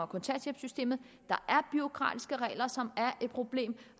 kontanthjælpssystemet der er bureaukratiske regler som er et problem